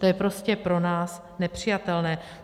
To je prostě pro nás nepřijatelné.